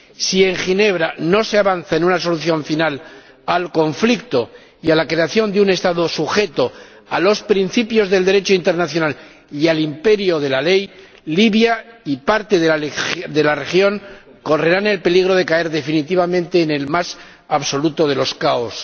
Si en Ginebra no se avanza en una solución final al conflicto y en la creación de un Estado sujeto a los principios del Derecho internacional y al imperio de la ley, Libia y parte de la región correrán el peligro de caer definitivamente en el más absoluto de los caos.